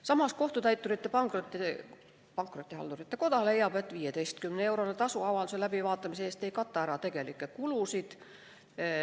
Samas Kohtutäiturite ja Pankrotihaldurite Koda leiab, et 15-eurone tasu avalduse läbivaatamise eest ei kata ära tegelikke kulusid.